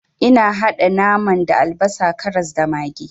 Ina haɗa naman da albasa, karas, da maggi.